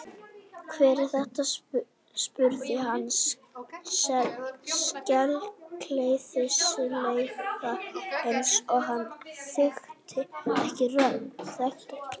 Hver er þetta? spurði hann sakleysislega eins og hann þekkti ekki rödd